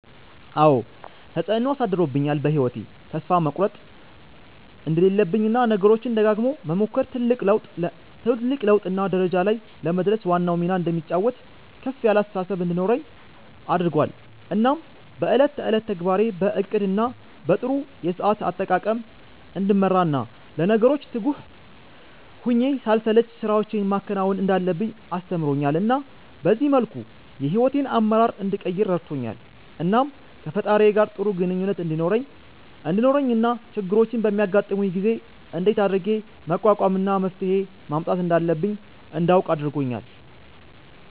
አዎ ተፀአኖ አሳድሮአል በ ህይዎቴ ተስፋ መቁረት እንደሌለብኝ እና ነገሮችን ደጋግሞ መሞከር ትልቅ ለውጥ እና ደረጃ ላይ ለመድረስ ዋናውን ሚና እንደሚጫወት ከፍ ያለ አስተሳሰብ እንዲኖረኝ አድርጎአል እናም በ እለት ተእለት ተግባሬን በ እቅድ እና በ ጥሩ የሰአት አጠቃቀም እንድመራ እና ለነገሮች ትጉህ ሁኘ ሳልሰለች ስራወችን ማከናወን እንዳለብኝ አስተምሮኛል እና በዚህ መልኩ የ ሂዎቴን አመራር እንድቀይር ረድቶኛል። እናም ከ ፈጣሪየ ጋር ጥሩ ግኝኙነት እንዲኖረኝ እና ችግሮች በሚያጋጥሙኝ ጊዜ እንደት አድርጌ መቋቋም እና መፍትሄ ማምጣት እንዳለብኝ እንዳውቅ አርጎኛል